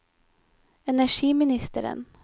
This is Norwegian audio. energiministeren